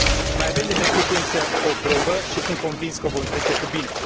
Mai avem de trecut, însă, o probă, și sunt convins că o vom trece cu bine.